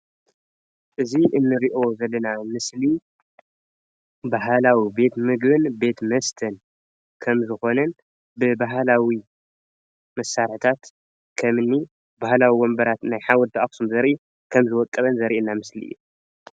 እዚ እንሪኦ ዘለና ምስሊ ባህላዊ ቤትምግብን ቤት መስተን ከምዝኽነን ብባህላዊ መሳርሕታት ከምኒ ባህላዊ ወንበራት ናይ ሓወልቲ ኣክሱም ዘርኢ ከምዝወቀበ ዘርኢየና ምስሊ እዩ፡፡